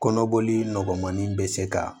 Kɔnɔboli nɔgɔmanin bɛ se ka